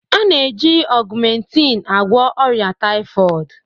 A na-eji augmentin agwọ ọrịa typhoid